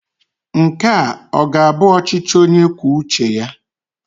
Nke a ọ ga-abụ ọchịchị onye kwuo uche ya?